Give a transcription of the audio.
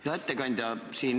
Hea ettekandja!